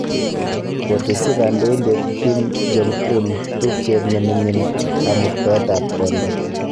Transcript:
kotesyi kandoindet Kim Jong-un tupchet ne ming'in kamuktaet ab kondo